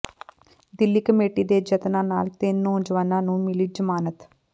Delhi committee ਦੇ ਯਤਨਾਂ ਨਾਲ ਤਿੰਨ ਨੌਜਵਾਨਾਂ ਨੂੰ ਮਿਲੀ ਜ਼ਮਾਨਤ